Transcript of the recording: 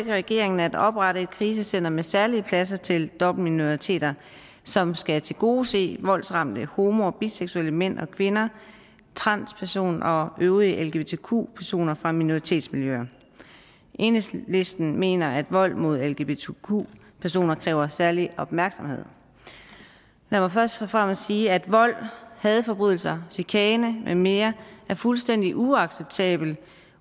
regeringen at oprette et krisecentet med særlige pladser til dobbeltminoriteter som skal tilgodese voldsramte homo og biseksuelle mænd og kvinder transpersoner og øvrige lgbtq personer fra minoritetsmiljøer enhedslisten mener at vold mod lgbtq personer kræver særlig opmærksomhed lad mig først og fremmest sige at vold hadforbrydelser chikane med mere er fuldstændig uacceptabelt